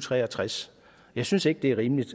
tre og tres jeg synes ikke det er rimeligt